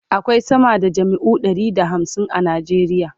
akwai sama da jami'o'i Ɗari da hamsin a nigeria